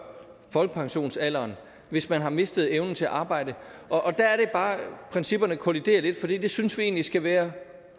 folkepensionsalderen hvis man har mistet evnen til at arbejde og der er det bare at principperne kolliderer lidt for det synes vi egentlig skal være